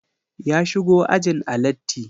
Ya shigo ajin a latti